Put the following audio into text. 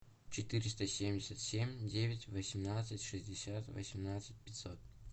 четыреста семьдесят семь девять восемнадцать шестьдесят восемнадцать пятьсот